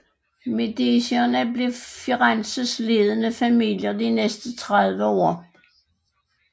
Medicierne blev Firenzes ledende familie de næste tredive år